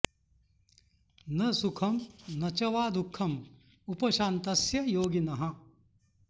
न सुखं न च वा दुःखं उपशान्तस्य योगिनः